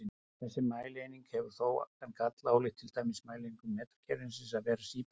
Þessi mælieining hefur þó þann galla, ólíkt til dæmis mælieiningum metrakerfisins, að vera síbreytileg.